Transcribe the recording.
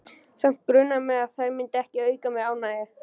Samt grunaði mig að þær myndu ekki auka mér ánægju.